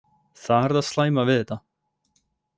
Það er það slæma við þetta.